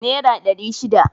Naira ɗari shida.